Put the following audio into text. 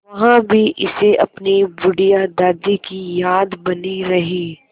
वहाँ भी इसे अपनी बुढ़िया दादी की याद बनी रही